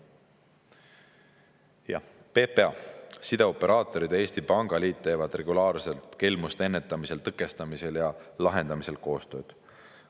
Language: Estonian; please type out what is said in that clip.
" Jah, PPA, sideoperaatorid ja Eesti Pangaliit teevad regulaarselt kelmuste ennetamisel, tõkestamisel ja lahendamisel koostööd.